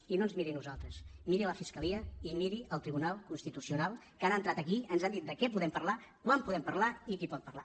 i no ens miri a nosaltres miri la fiscalia i miri el tribunal constitucional que han entrat aquí ens han dit de què podem parlar quan podem parlar i qui pot parlar